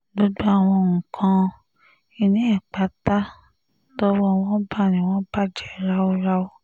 gbogbo àwọn nǹkan-ìní ẹ̀ pátá tọ́wọ́ wọn bá ni wọ́n bàjẹ́ ráúráú